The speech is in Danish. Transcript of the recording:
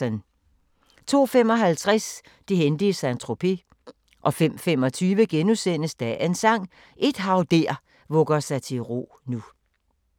02:55: Det hændte i Saint-Tropez 05:25: Dagens Sang: Et hav der vugger sig til ro nu *